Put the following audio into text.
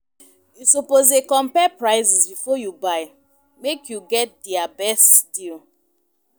You suppose dey compare prices before you buy, make you get di best deal.